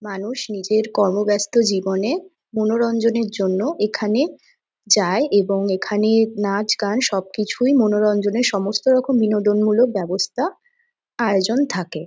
মানুষ নিজের কর্মব্যস্ত জীবনে মনোরঞ্জনের জন্য এখানে যায় এবং এখানে নাচ-গান সবকিছুই মনোরঞ্জনের সমস্ত রকম বিনোদনমূলক ব্যবস্থা আয়োজন থাকে।